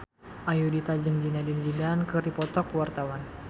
Ayudhita jeung Zidane Zidane keur dipoto ku wartawan